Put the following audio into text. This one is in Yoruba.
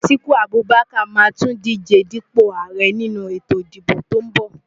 Atiku Abubakar máa tún díje dípò ààrẹ nínú ètò ìdìbò tó ń bọ̀.